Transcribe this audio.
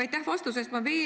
Aitäh vastuse eest!